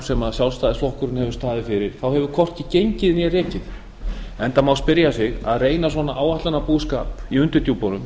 sem sjálfstæðisflokkurinn hefur staðið fyrir hefur hvorki gengið né rekið enda má spyrja sig að reyna svona áætlunarbúskap í undirdjúpunum